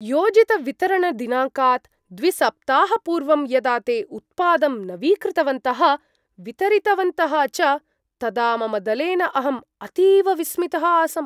योजितवितरणदिनाङ्कात् द्विसप्ताहपूर्वं यदा ते उत्पादं नवीकृतवन्तः, वितरितवन्तः च तदा मम दलेन अहम् अतीव विस्मितः आसम्।